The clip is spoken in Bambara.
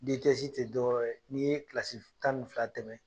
tɛ dɔwɛrɛ ye n'i ye kilasi tan ni fila tɛmɛ